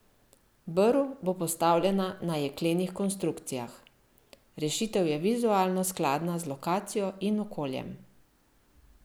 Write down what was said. Brv bo postavljena na jeklenih konstrukcijah: 'Rešitev je vizualno skladna z lokacijo in okoljem.